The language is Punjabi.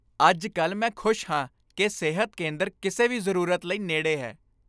ਅੱਜ ਕੱਲ੍ਹ ਮੈਂ ਖੁਸ਼ ਹਾਂ ਕਿ ਸਿਹਤ ਕੇਂਦਰ ਕਿਸੇ ਵੀ ਜ਼ਰੂਰਤ ਲਈ ਨੇੜੇ ਹੈ ।